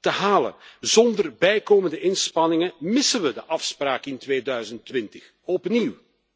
te halen. Zonder bijkomende inspanningen missen we de afspraak in 2020 opnieuw.